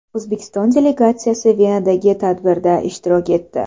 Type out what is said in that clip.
O‘zbekiston delegatsiyasi Venadagi tadbirda ishtirok etdi.